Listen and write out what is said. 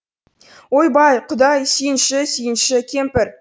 ойбай құдай сүйінші сүйінші кемпір